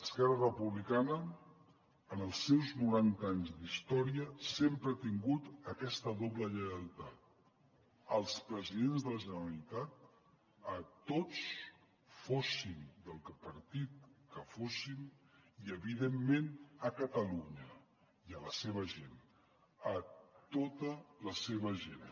esquerra republicana en els seus noranta anys d’història sempre ha tingut aquesta doble lleialtat als presidents de la generalitat a tots fossin del partit que fossin i evidentment a catalunya i a la seva gent a tota la seva gent